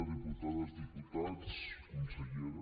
diputades diputats consellera